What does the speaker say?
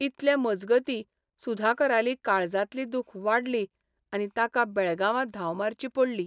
इतले मजगतीं सुधाकराली काळजांतली दूख वाडली आनी ताका बेळगांवां धांव मारची पडली.